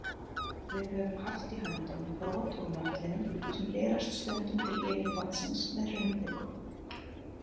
Við höfum haft í höndunum brot úr möttlinum sem berast stundum til yfirborðsins með hraunkviku.